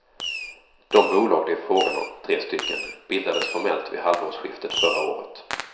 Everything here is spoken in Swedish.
De bolag det är fråga om, tre stycken, bildades formellt vid halvårsskiftet förra året.